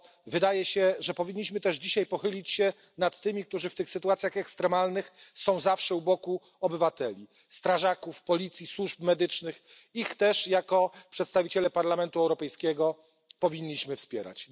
Wydaje się, że powinniśmy też dzisiaj pochylić się nad tymi, którzy w tych sytuacjach ekstremalnych są zawsze u boku obywateli strażakami, policją, służbami medycznymi ich też jako przedstawiciele Parlamentu Europejskiego powinniśmy wspierać.